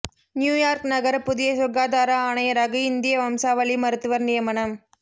New York நகர புதிய சுகாதார ஆணையராக இந்திய வம்சாவளி மருத்துவர் நியமனம்